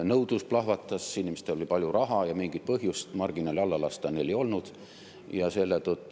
Nõudlus plahvatas, inimestel oli palju raha ja mingit põhjust marginaali alla lasta neil ei olnud.